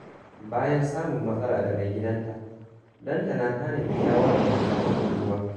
Bayan samun matsala da maigidanta, Lantana ta nemi shawarar dattawan unguwa.